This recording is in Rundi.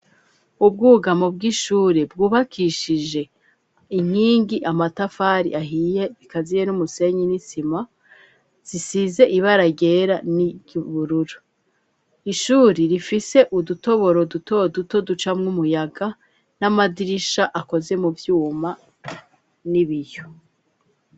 Ubwugamo bw'ishuri bwubakishije inkingi amatafari ahiye, bikaziye n'umusenyi n'isima zisize ibaragera n'ibururu ishuri rifise udutoboro duto duto ducamwo umuyaga n'amadirisha akoze mu vyuma n'ibiyo.